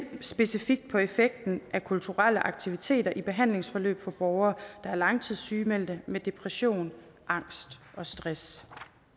specifikt på effekten af kulturelle aktiviteter i behandlingsforløb for borgere der er langtidssygemeldte med depression angst og stress